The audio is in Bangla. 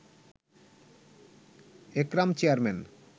একরাম চেয়ারম্যান